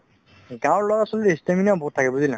গাওঁৰ লৰা ছোৱালি stamina বহুত থাকে বুজিলা